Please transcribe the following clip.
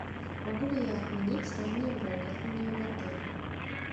могу ли я отменить раннее бронирование в отеле